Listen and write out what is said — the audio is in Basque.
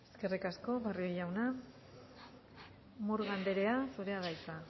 eskerrik asko barrio jauna murga anderea zurea da hitza